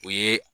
O ye